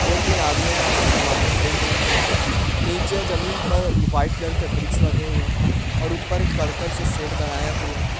दो-तीन आदमियां यहां से सामाने खरीद रहे हैं। नीचे जमीन पर ये व्हाइट कलर के ब्रिक्स लगे हुए हैं और ऊपर एक कड़कट से शेड बनाया हुआ है।